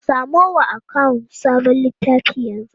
Samo wa akawun sabon littafi yanzu!